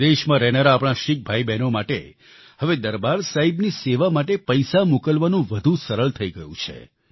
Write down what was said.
વિદેશમાં રહેનારા આપણા શીખ ભાઈબહેનો માટે હવે દરબાર સાહિબની સેવા માટે પૈસા મોકલવાનું વધુ સરળ થઈ ગયું છે